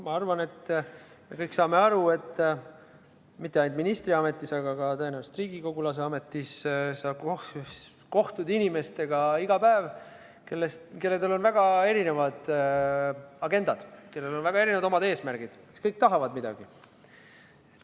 Ma arvan, et me kõik saame aru, et mitte ainult ministriametis, vaid tõenäoliselt ka riigikogulase ametis kohtud sa iga päev inimestega, kellel on väga erinevad agendad, väga erinevad eesmärgid ja kes kõik tahavad midagi.